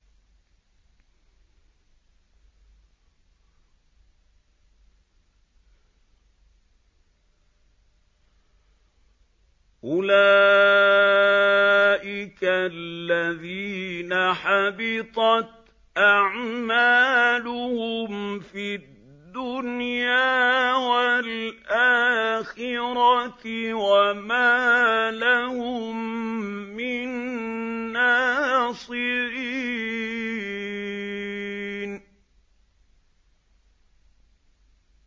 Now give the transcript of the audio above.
أُولَٰئِكَ الَّذِينَ حَبِطَتْ أَعْمَالُهُمْ فِي الدُّنْيَا وَالْآخِرَةِ وَمَا لَهُم مِّن نَّاصِرِينَ